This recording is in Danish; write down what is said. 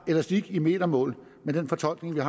elastik i metermål med den fortolkning der